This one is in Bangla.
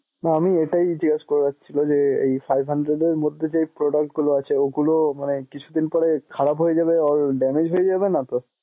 না আমি এটাই জিজ্ঞেস করার ছিলো যে এই five hundred এর মধ্যে যে product গুলো আছে গুলো মানে কিছুদিন পরে খারাপ হয়ে যাবে or damage হয়ে যাবে নাতো?